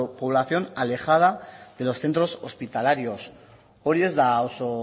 población alejada de los centros hospitalarios hori ez da oso